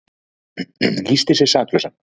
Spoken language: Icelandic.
Lýsti sig saklausan